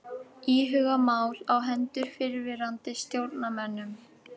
Íhuga mál á hendur fyrrverandi stjórnarmönnum